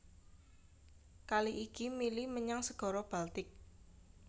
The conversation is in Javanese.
Kali iki mili menyang Segara Baltik